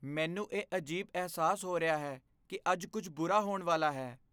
ਮੈਨੂੰ ਇਹ ਅਜੀਬ ਅਹਿਸਾਸ ਹੋ ਰਿਹਾ ਹੈ ਕਿ ਅੱਜ ਕੁੱਝ ਬੁਰਾ ਹੋਣ ਵਾਲਾ ਹੈ।